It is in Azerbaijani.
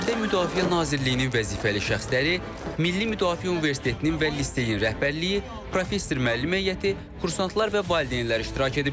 Tədbirdə Müdafiə Nazirliyinin vəzifəli şəxsləri, Milli Müdafiə Universitetinin və liseyin rəhbərliyi, professor-müəllim heyəti, kursantlar və valideynlər iştirak ediblər.